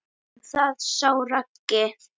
Um það sá Raggi.